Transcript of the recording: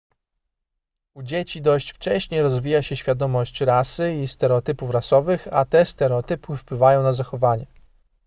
u dzieci dość wcześnie rozwija się świadomość rasy i stereotypów rasowych a te stereotypy wpływają na zachowanie